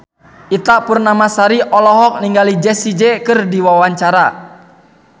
Ita Purnamasari olohok ningali Jessie J keur diwawancara